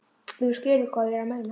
Ef þú skilur hvað ég er að meina.